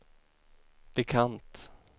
bekant